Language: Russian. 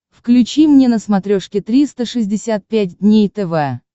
включи мне на смотрешке триста шестьдесят пять дней тв